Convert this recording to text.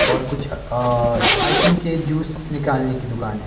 और कुछ I think ये जूस निकालने की दुकान है।